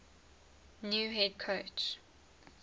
new head coach